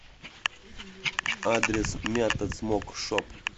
адрес мята смок шоп